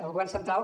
el govern central